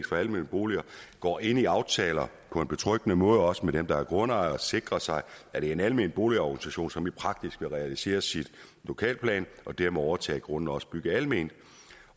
for almene boliger går ind i aftaler på en betryggende måde også med dem der er grundejere og sikrer sig at det er en almen boligorganisation som i praksis vil realiseres i lokalplanen og dermed overtage grunden og også bygge alment